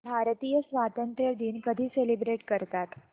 भारतीय स्वातंत्र्य दिन कधी सेलिब्रेट करतात